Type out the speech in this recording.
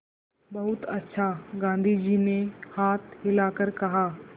बहुत अच्छा गाँधी जी ने हाथ हिलाकर कहा